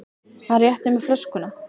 Hann rétti mér flöskuna.